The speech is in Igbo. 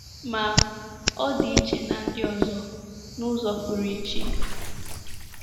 Ma, ọ dị iche na ndi ọzọ, n’ụzọ pụrụ iche.